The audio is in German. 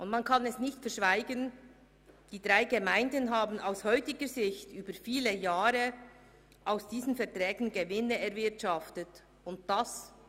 Man kann nicht verschweigen, dass die drei Gemeinden aus heutiger Sicht während vieler Jahre Gewinne aus diesen Verträgen erwirtschaftet haben.